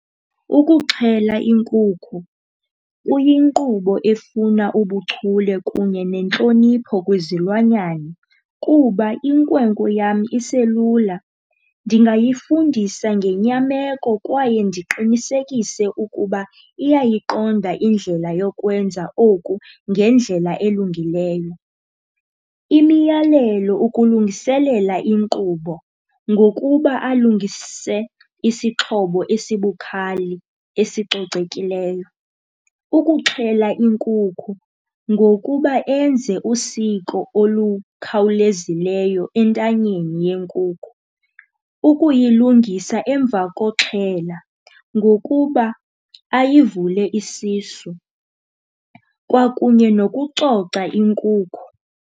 Ukuxhela inkukhu kuyinkqubo efuna ubuchule kunye nentlonipho kwizilwanyana. Kuba inkwenkwe yam iselula, ndingayifundisa ngenyameko kwaye ndiqinisekise ukuba iyayiqonda indlela yokwenza oku ngendlela elungileyo. Imiyalelo ukulungiselela inkqubo ngokuba alungise isixhobo esibukhali esicocekileyo ukuxhela inkukhu ngokuba enze usiko olukhawulezileyo entanyeni yenkukhu. Ukuyilungisa emva koxhela ngokuba ayivule isisu, kwakunye nokucoca inkukhu.